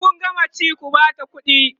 in Kun gama ci ku Bata ƙuɗi